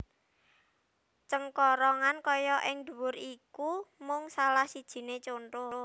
Cengkorongan kaya ing dhuwur iku mung salah sijine conto